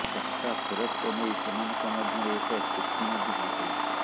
ଟଙ୍କା ଫେରସ୍ତ ନେଇ ସେମାନଙ୍କ ମଧ୍ୟରେ ଏକ ଚୁକ୍ତି ମଧ୍ୟ ହୋଇଥିଲା